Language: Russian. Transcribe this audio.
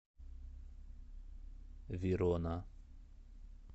верона